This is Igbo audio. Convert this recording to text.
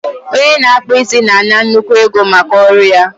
Onye na-akpụ isi na-akwụ ụgwọ nnukwu ego maka ọrụ ya